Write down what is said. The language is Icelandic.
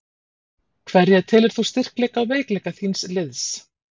Hverja telur þú styrkleika og veikleika þíns liðs?